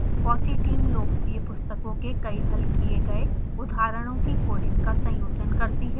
fossee team लोकप्रिय पुस्तकों के कई हल किए गए उदाहरणों की कोडिंग का संयोजन करती है